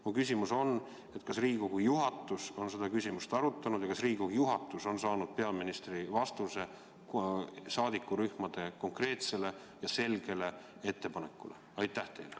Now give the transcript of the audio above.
Mu küsimus on: kas Riigikogu juhatus on seda küsimust arutanud ja kas Riigikogu juhatus on saanud peaministrilt vastuse saadikurühmade konkreetsele ja selgele ettepanekule?